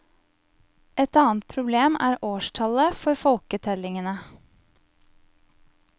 Et annet problem er årstallet for folketellingene.